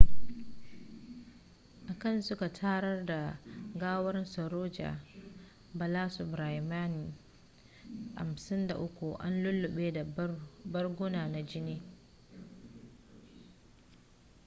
a can suka tarar da gawar saroja balasubramanian 53 an lulluɓe da barguna na jini